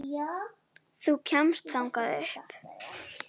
Þú kemst þangað upp.